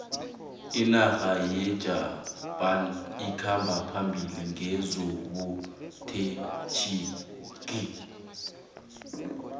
inarha yejapan ikhamba phambili ngezobuterhnigi